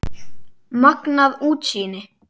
Magnað útsýni!